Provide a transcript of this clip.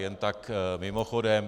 Jen tak mimochodem.